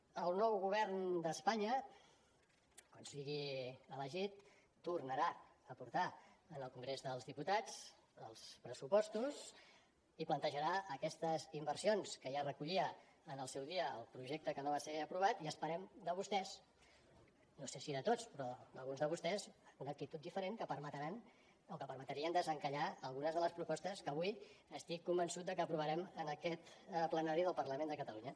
el nou govern d’espanya quan sigui elegit tornarà a portar al congrés dels diputats els pressupostos i plantejarà aquestes inversions que ja recollia en el seu dia el projecte que no va ser aprovat i esperem de vostès no sé si de tots però d’alguns de vostès una actitud diferent que permetran o que permetrien desencallar algunes de les propostes que avui estic convençut de que aprovarem en aquest plenari del parlament de catalunya